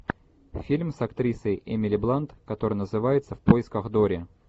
фильм с актрисой эмили блант который называется в поисках дори